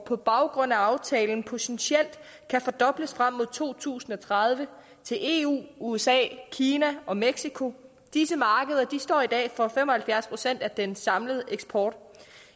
på baggrund af aftalen potentielt kan fordobles frem mod to tusind og tredive til eu usa kina og mexico disse markeder står i dag for fem og halvfjerds procent af den samlede eksport